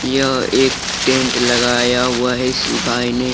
यह एक टेंट लगाया हुआ है इस सिपाही ने।